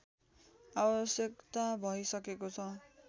आवश्यकता भइसकेको छ